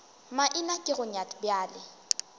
maina ke go nyat bjale